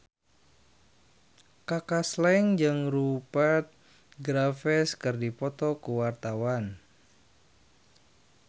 Kaka Slank jeung Rupert Graves keur dipoto ku wartawan